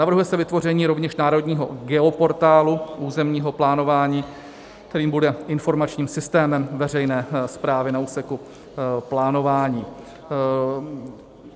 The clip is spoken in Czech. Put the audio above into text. Navrhuje se vytvoření rovněž národního geoportálu územního plánování, který bude informačním systémem veřejné správy na úseku plánování.